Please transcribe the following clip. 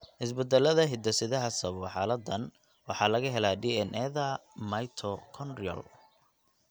Isbeddellada hidde-sidaha sababa xaaladdan waxaa laga helaa DNA-da mitochondrial.